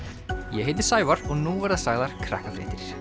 ég heiti Sævar og nú verða sagðar